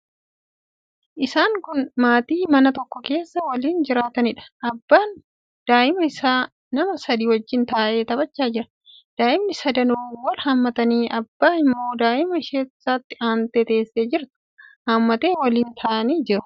Isaan kun maatii mana tokko keessa waliin jiraataniidha. Abbaan daa'ima isaa nama sadii wajjin taa'ee taphachaa jira. Daa'imni sadanuu wal hammatanii, abbaan immoo daa'ima isatti aantee teessee jirtu hammatee waliin taa'anii jiru.